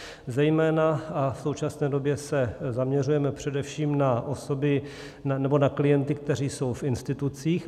Zejména a v současné době se zaměřujeme především na osoby nebo na klienty, kteří jsou v institucích.